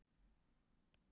Agnes hefur lög að mæla.